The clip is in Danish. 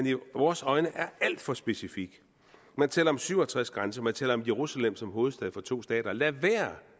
i vores øjne er alt for specifik man taler om syv og tres grænser man taler om jerusalem som hovedstad for to stater lad være